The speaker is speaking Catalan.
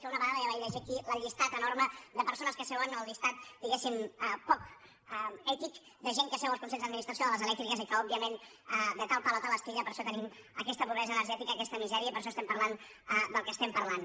que una vegada ja vaig llegir aquí el llistat enorme de persones que seuen o el llistat diguéssim poc ètic de gent que seu als consells d’administració de les elèctriques i que òbviament de tal palo tal astilla per això tenim aquesta pobresa energètica aquesta misèria i per això estem parlant del que estem parlant